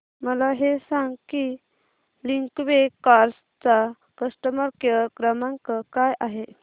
मला हे सांग की लिंकवे कार्स चा कस्टमर केअर क्रमांक काय आहे